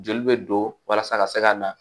Joli bɛ don walasa ka se ka na